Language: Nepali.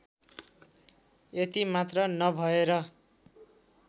यति मात्र नभएर